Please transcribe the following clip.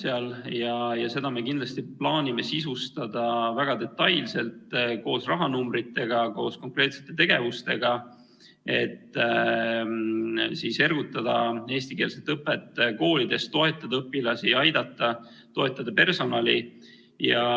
Ja seda me plaanime kindlasti sisustada väga detailselt, koos rahanumbritega ja koos konkreetsete tegevustega, et ergutada eestikeelset õpet koolides, toetada õpilasi ning aidata ja toetada personali.